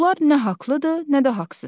Bunlar nə haqlıdır, nə də haqsız.